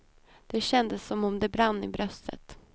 Det kändes som om det brann i bröstet.